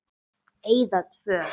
Eyða tvö.